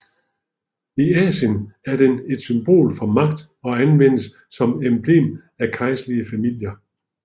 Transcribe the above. I Asien er den et symbol for magt og anvendes som emblem af kejserlige familier